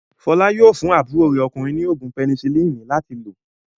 Fọlá yóò fún àbúrò rẹ̀ ọkùnrin ní òògùn pẹnisilínì láti lò.